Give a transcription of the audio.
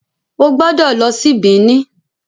o gbódò ló sì Benin.